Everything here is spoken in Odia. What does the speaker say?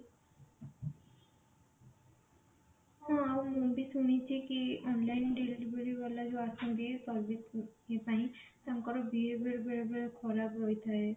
ହଁ ଆଉ ମୁଁ ବି ଶୁଣିଛି କି online deliveryବାଲା ଯୋଉ ଆସନ୍ତି ସେରିବିକେ ଇଏ ପାଇଁ ତାଙ୍କର behavior ବେଳେ ବେଳେ ଖରାପ ହୋଇଥାଏ